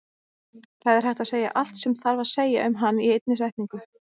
Það er hægt að segja allt sem þarf að segja um hann í einni setningu.